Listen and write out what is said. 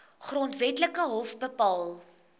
grondwetlike hof bepaal